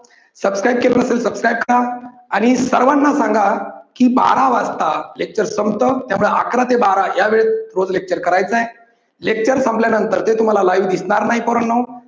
subscribe केलेलं नसेल subscribe करा. आणि सर्वांना सांगा की बारा वाजता lecture संपत. त्यामुळे अकरा ते बारा या वेळेत रोज lecture करायच आहे. lecture संपल्या नंतर ते तुम्हाला live दिसणार नाही पोरांनो